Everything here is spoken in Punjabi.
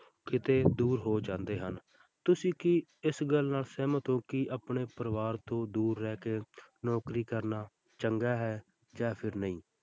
ਕਿਤੇ ਦੂਰ ਹੋ ਜਾਂਦੇ ਹਨ, ਤੁਸੀਂ ਕੀ ਇਸ ਗੱਲ ਨਾਲ ਸਹਿਮਤ ਹੋ ਕਿ ਆਪਣੇ ਪਰਿਵਾਰ ਤੋਂ ਦੂਰ ਰਹਿ ਕੇ ਨੌਕਰੀ ਕਰਨਾ ਚੰਗਾ ਹੈ ਜਾਂ ਫਿਰ ਨਹੀਂ।